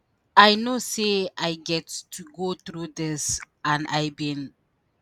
“i know say i get to go through dis and i bin